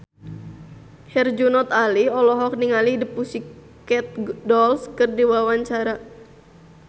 Herjunot Ali olohok ningali The Pussycat Dolls keur diwawancara